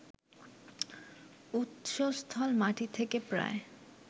উৎসস্থল মাটি থেকে প্রায়